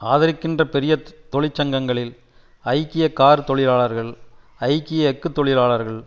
ஆதரிக்கின்ற பெரிய தொழிற்சங்கங்களில் ஐக்கிய கார் தொழிலாளர்கள் ஐக்கிய எஃகு தொழிலாளர்கள்